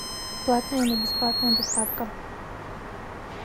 платная или бесплатная доставка